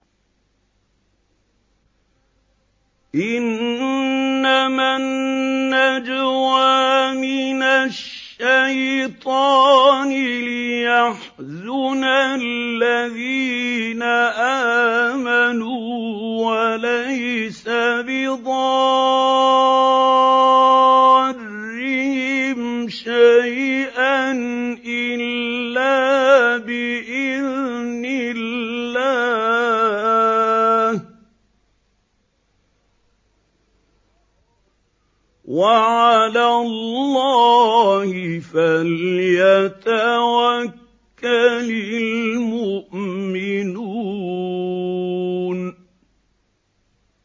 إِنَّمَا النَّجْوَىٰ مِنَ الشَّيْطَانِ لِيَحْزُنَ الَّذِينَ آمَنُوا وَلَيْسَ بِضَارِّهِمْ شَيْئًا إِلَّا بِإِذْنِ اللَّهِ ۚ وَعَلَى اللَّهِ فَلْيَتَوَكَّلِ الْمُؤْمِنُونَ